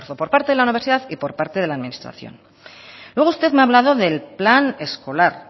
por parte de la universidad y por parte de la administración luego usted me ha hablado del plan escolar